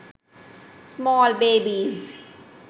small babies